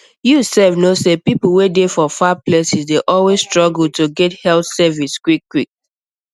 you sef know say people wey dey for far places dey always struggle to get health service quickquick